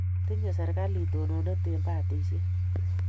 Tinye serikalit tononet eng' patishet